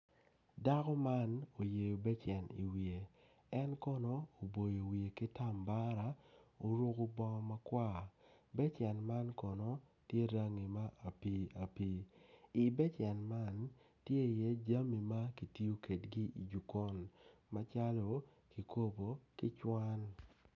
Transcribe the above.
Dako man oyeyo becen iwiye en kono oboyo wiye ki tambara oruko bongo makwar becen man kono tye rangi ma apii apii i becen man tye iye jami ma kitiyo kwedgi i jokon macalo kikopo ki cuwan.